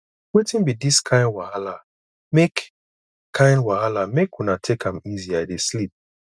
wetin be dis kin wahalamake kin wahalamake una take am easy i dey sleep